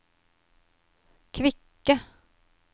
kvikke